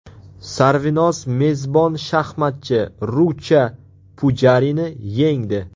Sarvinoz mezbon shaxmatchi Rucha Pujarini yengdi.